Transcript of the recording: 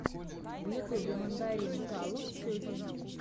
в ютюбе мандаринкалав сетин